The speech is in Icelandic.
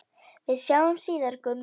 Við sjáumst síðar, Gummi.